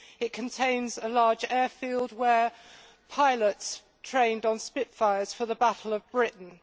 It contains a large airfield where pilots trained in Spitfires for the Battle of Britain.